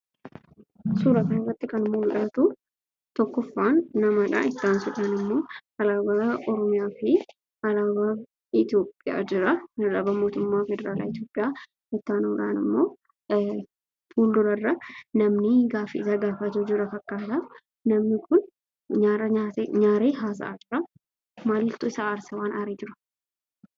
Suuraa kanarratti kan mul'atu tokkoffaan namadha. itti aansuun immoo alaabaa oromiyaa fi alaabaa Itoophiyaa jira. Alaabaa mootummaa federaalaa Itoophiyaa itti aanuudhaan immoo fuuldurarra namni gaaffii gaafatu jira fakkaata. Namni kun nyaara nyaaree haasa'aa jira. Maaltu isa aarsee?